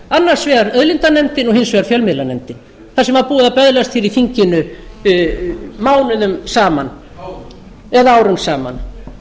annars vegar auðlindanefndin og hins vegar fjölmiðlanefndin þar sem var búið að böðlast hér í þinginu mánuðum saman árum eða árum saman